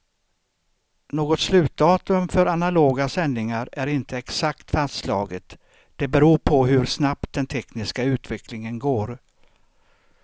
Något slutdatum för analoga sändningar är inte exakt fastslaget, det beror på hur snabbt den tekniska utvecklingen går.